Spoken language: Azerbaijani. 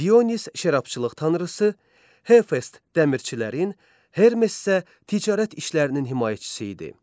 Dionis şərabçılıq tanrısı, Hefest dəmirçilərin, Hermes isə ticarət işlərinin himayəçisi idi.